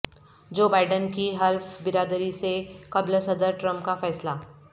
جو بائیڈن کی حلف برداری سے قبل صدر ٹرمپ کا فیصلہ